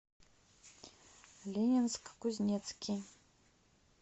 ленинск кузнецкий